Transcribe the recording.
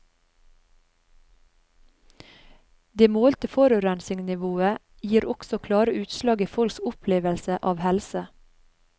Det målte forurensningsnivået gir også klare utslag i folks opplevelse av helse.